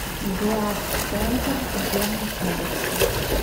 глазцентр где находится